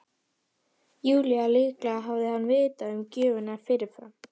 Júlíu að líklega hefði hann vitað um gjöfina fyrirfram.